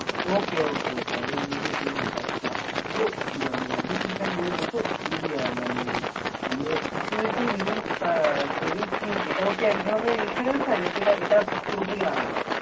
ওকে okay okay আমি বুঝেছি ব্যাপারটা। তো মানে তো মানে আমি ঠিকঠাক বুঝলাম। তো মানে ইয়া মানে Equity links savings কি এটাও কি এক ধরনের insurance হয়। না এটা পুরোপুরি আলাদা